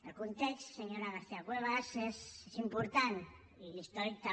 el context senyora garcía cuevas és important i l’històric també